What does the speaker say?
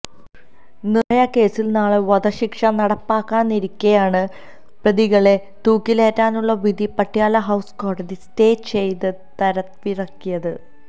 നിര്ഭയ കേസിൽ നാളെ വധശിക്ഷ നടപ്പാക്കാനിരിക്കെയാണ് പ്രതികളെ തൂക്കിലേറ്റാനുള്ള വിധി പട്യാല ഹൌസ് കോടതി സ്റ്റേ ചെയ്ത് ത്തരവിറക്കിയത്